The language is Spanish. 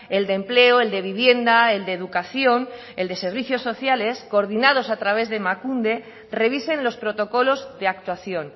el de empleo el de vivienda el de educación el de servicios sociales coordinados a través de emakunde revisen los protocolos de actuación